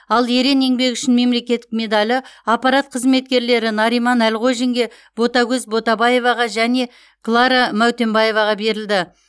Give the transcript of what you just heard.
ал ерен еңбегі үшін мемлекеттік медалі аппарат қызметкерлері нариман әлғожинге ботагөз ботабаеваға және клара мәутенбаеваға берілді